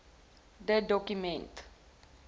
de doku ment